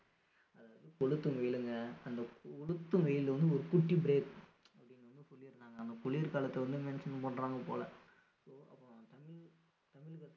கொளுத்தும் வெயிலுங்க அந்த கொழுத்தும் வெயில வந்து ஒரு குட்டி break அப்படின்னு வந்து சொல்லி இருக்காங்க நம்ம குளிர் காலத்த வந்து mention பண்றாங்க போல so அப்போ தமிழ் தமிழகத்துல